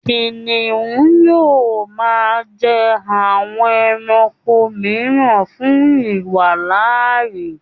Kìnìún yóò máa jẹ àwọn ẹranko mìíràn fún ìwàláàyè.